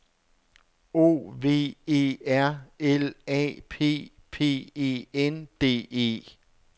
O V E R L A P P E N D E